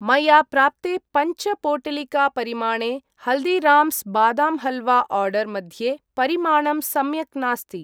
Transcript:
मया प्राप्ते पञ्च पोटलिकापरिमाणे हल्दिराम्स् बादाम् हल्वा आर्डर् मध्ये परिमाणं सम्यक् नास्ति।